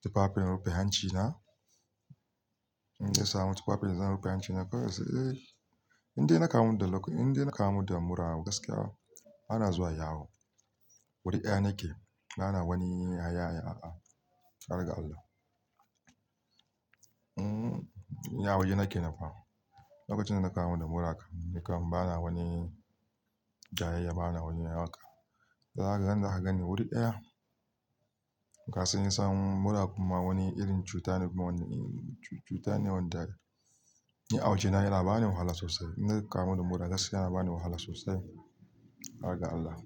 tufafin na rufe hancina. In gaisamu tufafin zan rufe hancina. Kwarai sai eh, inda na kama da, inda na kama da mura gaskiya bana zuwa yawo. Wuri ɗaya nake. Bana wani hayayya a a. Har ga Allah. Hmm, a wajena kenan fah. Lokacin da na kama da mura kam, ni kam bana wani jayayya, bana wani raka. Zaka gan ni wuri ɗaya. Gaskiya in samu mura kuma wani irin cuta ne kuma wani cuta ne wanda a waje na yana bani wahala sosai. In na kamu da mura gaskiya yana bani wahala sosai. Kar ga Allah.